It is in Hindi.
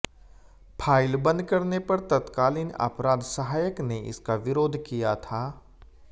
फाइल बंद करने पर तत्कालीन अपराध सहायक ने इसका विरोध किया था